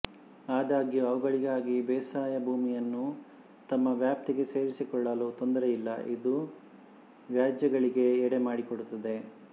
ಆದಾಗ್ಯೂ ಅವುಗಳಿಗಾಗಿ ಬೇಸಾಯ ಭೂಮಿಯನ್ನು ತಮ್ಮ ವ್ಯಾಪ್ತಿಗೆ ಸೇರಿಸಿಕೊಳ್ಳಲು ತೊಂದರೆಯಿಲ್ಲ ಇದು ವ್ಯಾಜ್ಯಗಳಿಗೆ ಎಡೆ ಮಾಡಿಕೊಡುತ್ತದೆ